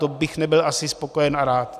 To bych nebyl asi spokojen a rád.